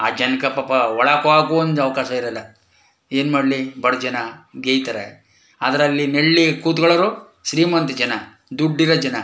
ಆ ಜನಕ್ಕೆ ಪಾಪ ಒಳಕೊಗಕುವೆ ಒಂದ್ ಅವಕಾಶ ಇರಲ್ಲ ಏನ್ಮಾಡ್ಲಿ ಬಡಜನ ಗೆಯ್ತರೆ ಅದ್ರಲ್ಲಿ ನಳ್ಳಿ ಕುತ್ಕೊಳ್ಳೋರು ಶ್ರೀಮಂತ ಜನ ದುಡ್ಡು ಇರೋ ಜನ .